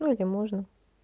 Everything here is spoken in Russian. ну или можно